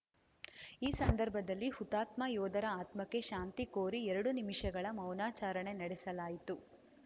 ಈ ಸಂದರ್ಭದಲ್ಲಿ ಹುತಾತ್ಮ ಯೋಧರ ಆತ್ಮಕ್ಕೆ ಶಾಂತಿ ಕೋರಿ ಎರಡು ನಿಮಿಷಗಳ ಮೌನಾಚರಣೆ ನಡೆಸಲಾಯಿತು